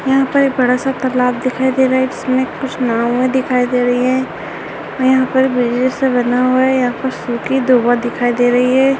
यहाँ पर बड़ा सा तालाब दिखाई दे रहा है जिसमें कुछ नाँवे दिखाई दे रही है और यहाँ पर ब्रिज जैसा बना हुआ है यहाँ पर सुखी दवा दिखाई दे रही है।